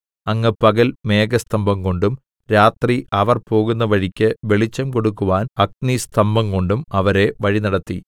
അങ്ങ് പകൽ മേഘസ്തംഭം കൊണ്ടും രാത്രി അവർ പോകുന്ന വഴിക്ക് വെളിച്ചംകൊടുക്കുവാൻ അഗ്നിസ്തംഭംകൊണ്ടും അവരെ വഴിനടത്തി